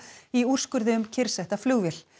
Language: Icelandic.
í úrskurði um kyrrsetta flugvél